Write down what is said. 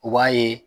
U b'a ye